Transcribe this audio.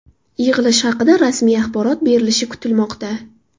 Yig‘ilish haqida rasmiy axborot berilishi kutilmoqda.